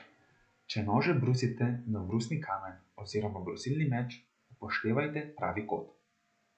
Če nože brusite na brusni kamen oziroma brusilni meč, upoštevajte pravi kot.